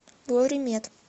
лоримед